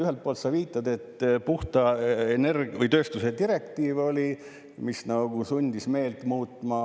Ühelt poolt sa viitad, et puhta tööstuse direktiiv nagu sundis meelt muutma.